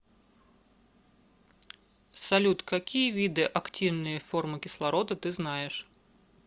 салют какие виды активные формы кислорода ты знаешь